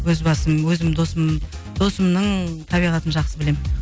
өз басым өзімнің досым досымның табиғатын жақсы білемін